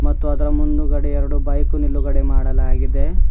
ಮತ್ತು ಅದರ ಮುಂದುಗಡೆ ಎರಡು ಬೈಕ್ ನಿಲುಗಡೆ ಮಾಡಲಾಗಿದೆ.